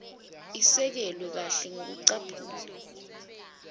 isekelwe kahle ngekucaphuna